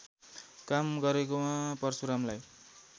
काम गरेकोमा परशुरामलाई